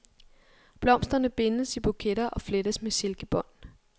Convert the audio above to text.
Blomsterne bindes i buketter og flettes med silkebånd.